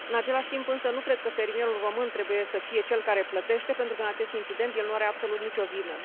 În același timp, însă, nu cred că fermierul român trebuie să fie cel care plătește pentru că, în acest incident, el nu are absolut nici o vină.